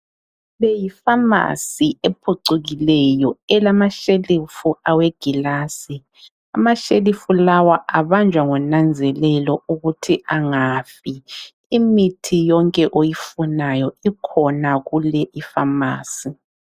Le yi"pharmacy" ephucukileyo elamashelufu awegilasi. Amashelufu lawa abanjwa ngonanzelelo ukuthi angafi. Imithi yonke oyifunayo ikhona kule i"pharmacy".